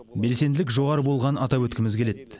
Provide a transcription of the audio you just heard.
белсенділік жоғары болғанын атап өткіміз келеді